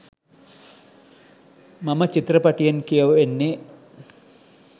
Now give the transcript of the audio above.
මම චිත්‍රපටයෙන් කියවෙන්නෙ